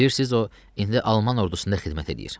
Bilirsiniz, o indi alman ordusunda xidmət eləyir.